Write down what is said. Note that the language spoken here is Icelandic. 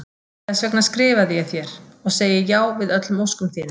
Þess vegna skrifaði ég þér- og segi já við öllum óskum þínum.